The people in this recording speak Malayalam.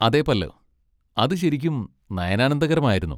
അതെ പല്ലവ്! അത് ശരിക്കും നയനാനന്ദകരമായിരുന്നു.